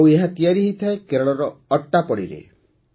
ଆଉ ଏହା ତିଆରି କରାଯାଏ କେରଳର ଅଟ୍ଟାପଡ଼ିରେ